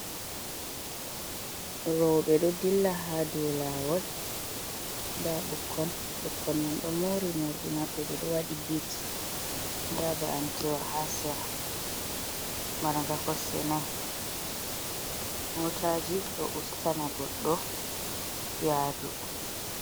Rouɓe doh ɗilla ha ɗow lawol da bukkon, bukkon man do mori mordi mabɓe ɓe doh wadi ɓit da ba’antewa ha sera marga kosɗe nai. Motaji do ustana goddo yadu.